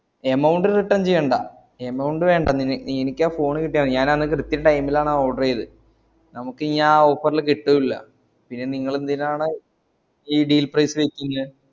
amount return ചെയ്യേണ്ട amount വേണ്ട എനിക്കാ phone കിട്ട്യാ മതി ഞാൻ അന്ന് കൃത്യം time ലാണാ order ഈതത് നമുക്കിഞ്യാ offerല് കിട്ടൂല്ല ഇനി നിങ്ങളെന്തിനാണ് ഈ deal price